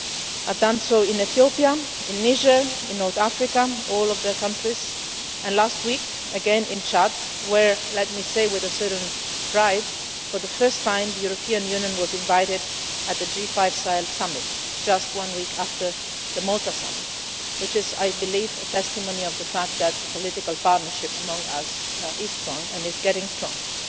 I have done so in Ethiopia, in Niger, in North Africa all of their countries and last week again in Chad, where, let me say with a certain pride, for the first time the European Union was invited to the G5 Sahel Summit just one week after the Malta Summit which is, I believe, testimony to the fact that the political partnership among us is strong and is getting stronger.